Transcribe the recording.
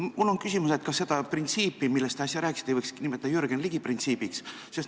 Mul on küsimus: kas seda printsiipi, millest te äsja rääkisite, ei võiks nimetada Jürgen Ligi printsiibiks?